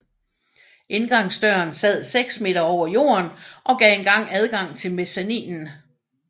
Indgangsdøren sad seks meter over jorden og gav engang adgang til mezzaninen